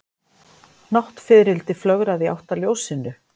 Náttfiðrildi flögraði í átt að ljósinu.